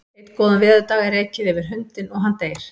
Einn góðan veðurdag er ekið yfir hundinn og hann deyr.